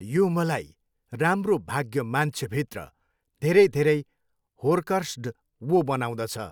यो मलाई राम्रो भाग्य मान्छे भित्र धेरै धेरै होर्कर्स्ड वो बनाउँदछ